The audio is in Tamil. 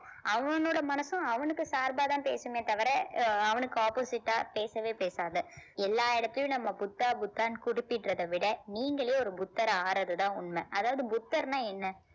அவனோட மனசும் அவனுக்கு சார்பாதான் பேசுமே தவிர அஹ் அவனுக்கு opposite ஆ பேசவே பேசாது எல்லா இடத்திலேயும் நம்ம புத்தா புத்தான்னு குறிப்பிடுறதை விட நீங்களே ஒரு புத்தர் ஆகுறதுதான் உண்மை அதாவது புத்தர்ன்னா என்ன